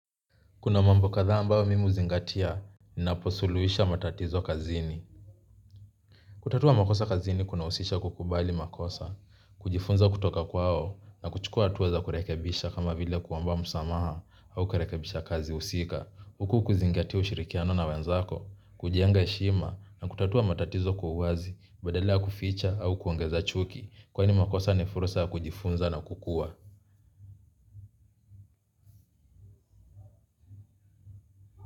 Kuna mambo katha ambao mimi huzingatia. Ninaposuluisha matatizo kazini. Kutatua makosa kazini kunausisha kukubali makosa. Kujifunza kutoka kwao na kuchukua atuwa za kurekebisha kama vile kuwomba msamaha au kurekebisha kazi usika huku ukizingatia ushirikiano na wenzako kujenga heshima na kutatua matatizo kwa huazi badala ya kuficha au kuongeza chuki kwani makosa ni fursa kujifunza na kukua.